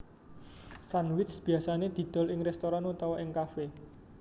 Sandwich biasane didol ing restoran utawa ing cafe